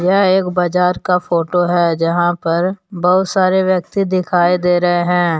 यह एक बाजार का फोटो है जहां पर बहुत सारे व्यक्ति दिखाई दे रहे हैं।